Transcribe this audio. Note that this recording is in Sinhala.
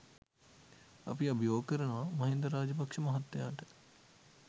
අපි අභියෝග කරනවා මහින්ද රාජපක්ෂ මහත්තයාට